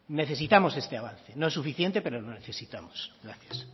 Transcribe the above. necesitamos este avance no es suficiente pero lo necesitamos gracias